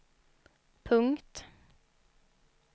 punkt